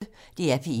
DR P1